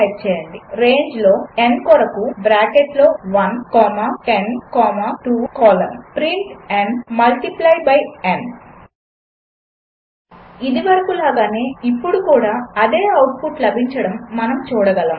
type చేయండి రేంజ్లో n కొరకు బ్రాకెట్లో 1 comma 10 comma 2 colon print n multiply by n ఇదివరకు లాగానే ఇప్పుడు కూడా అదే ఔట్పుట్ లభించడం మనము చూడగలము